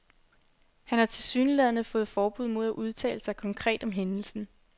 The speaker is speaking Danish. Han har tilsyneladende fået forbud mod at udtale sig konkret om hændelsen.